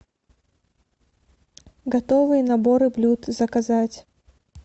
готовые наборы блюд заказать